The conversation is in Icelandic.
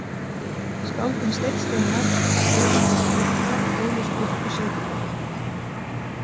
Skáldin Steinn Steinarr og Stefán frá Hvítadal ólust upp í Saurbæ.